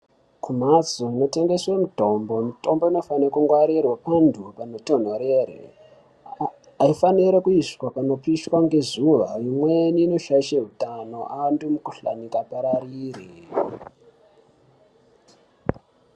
Kumhatso inotengeswe mitombo, mitombo inofana kungwarirwa pantu panotonhorere. Haifanire kuiswa panopiswa ngezuva imweni inoshaishe hutano antu mikuhlani ingapararire.